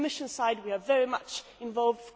On the Commission side, we are very much involved.